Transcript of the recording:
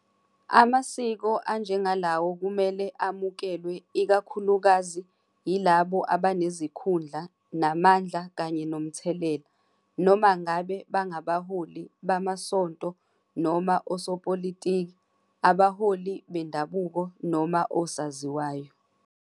Amasiko anjengalawo kumele amukelwe ikakhulukazi yilabo abanezikhundla namandla kanye nomthelela, noma ngabe bangabaholi bamasonto noma osopolitiki, abaholi bendabuko noma osaziwayo.